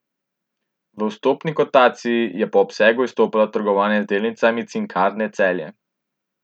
V vstopni kotaciji je po obsegu izstopalo trgovanje z delnicami Cinkarne Celje.